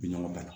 Bi ɲɔgɔn dan